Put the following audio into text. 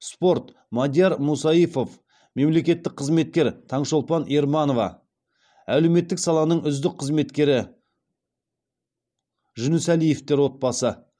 спорт мадияр мусаифов мемлекеттік қызметкер таңшолпан ерманова әлеуметтік саланың үздік қызметкері жүнісәлиевтер отбасы